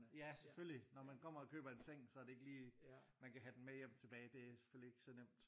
Ja selvfølgelig når man kommer og køber en seng så er det ikke lige man kan have den med hjem tilage det er selvfølgelig ikke så nemt